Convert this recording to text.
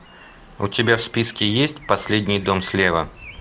у тебя в списке есть последний дом слева